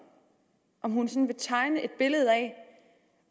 om hun kan tegne et billede af